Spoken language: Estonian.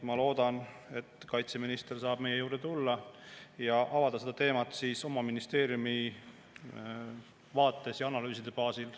Ma loodan, et kaitseminister saab meie juurde tulla ja avada seda teemat oma ministeeriumi vaates ja analüüside baasil.